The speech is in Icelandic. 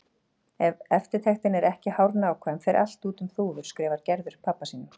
Ef eftirtektin er ekki hárnákvæm fer allt út um þúfur, skrifar Gerður pabba sínum.